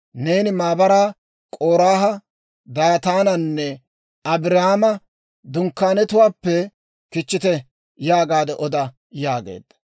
«Neeni maabaraa, ‹K'oraaha, Daataananne Abiiraama dunkkaanetuwaappe kichchite› yaagaade oda» yaageedda.